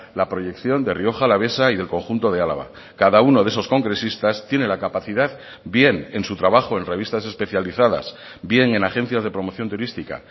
la proyección de rioja alavesa y del conjunto de álava cada uno de esos congresistas tiene la capacidad bien en su trabajo en revistas especializadas bien en agencias de promoción turística